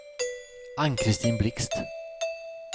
Ann-Christin Blixt